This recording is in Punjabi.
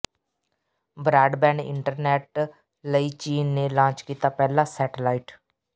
ਬ੍ਰਾਡਬੈਂਡ ਇੰਟਰਨੈੱਟ ਲਈ ਚੀਨ ਨੇ ਲਾਂਚ ਕੀਤਾ ਪਹਿਲਾ ਸੈਟੇਲਾਈਟ